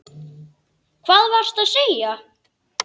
Hvað varstu að segja?